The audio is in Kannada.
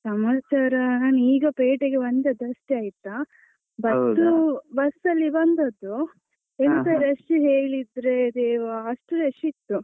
ಸಮಾಚಾರ ನಾನ್ ಈಗ ಪೇಟೆಗೆ ಬಂದದಷ್ಟೇ ಆಯ್ತಾ. bus ಸ್ಸು bus ಅಲ್ಲಿ ಬಂದದ್ದು. ಎಂತ rush ಹೇಳಿದ್ರೆ ದೇವಾ, ಅಷ್ಟು rush ಇತ್ತು.